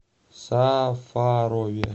сафарове